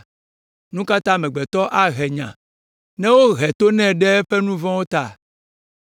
Nu ka ta amegbetɔ ahe nya ne wohe to nɛ ɖe eƒe nu vɔ̃wo ta?